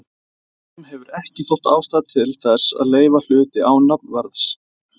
Norðurlöndum hefur ekki þótt ástæða til þess að leyfa hluti án nafnverðs.